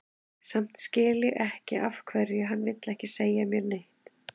Samt skil ég ekki af hverju hann vill ekki segja mér neitt.